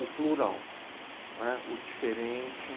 o plural, né? O diferente.